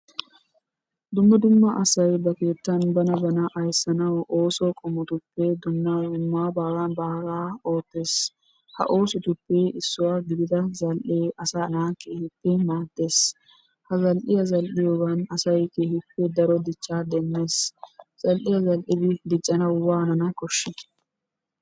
Dumma dumma asay ba keettan bana bana ayssanawu ooso qommotuppe dumma dumma baagaa baagaa oottees. Ha oosotuppe issuwa gidida zal"ee asaa naa keehippe maaddees. Ha zal"iya zal"iyogan asay keehippe daro dichchaa demmees. Ha zal"iya zal"idi diccanawu waanana koshshii?